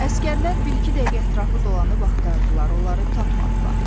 Əsgərlər bir-iki dəqiqə ətrafı dolanıb axtardılar, onları tapmadılar.